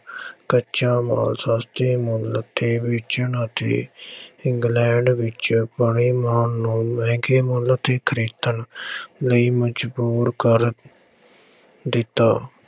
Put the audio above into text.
ਕੱਚਾ ਮਾਲ ਸਸਤੇ ਮੁੱਲ ਤੇ ਵੇਚਣ ਅਤੇ ਇੰਗਲੈਂਡ ਵਿੱਚ ਬਣੇ ਮਾਲ ਨੂੰ ਮਹਿੰਗੇ ਮੁੱਲ ਤੇ ਖ਼ਰੀਦਣ ਲਈ ਮਜ਼ਬੂਰ ਕਰ ਦਿੱਤਾ।